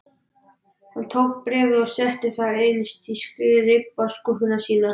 Hann tók bréfið og setti það innst í skrifborðsskúffuna sína.